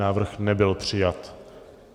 Návrh nebyl přijat.